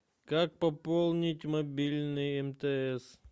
как пополнить мобильный мтс